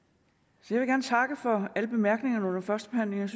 så jeg takke for alle bemærkningerne under førstebehandlingen